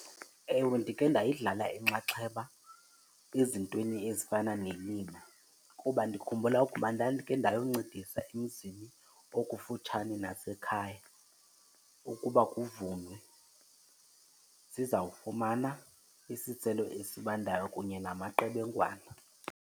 Ewe, ndikhe ndayidlala inxaxheba ezintweni ezifana nelima kuba ndikhumbula ukuba ndandikhe ndayoncedisa emzini okufutshane nasekhaya ukuba kuvunwe, sizawufumana isiselo esibandayo kunye namaqebengwana.